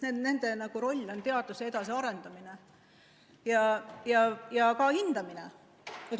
Nende roll on teaduse edasiarendamine ja ka hindamine.